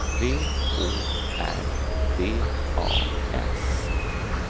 V Å R D A S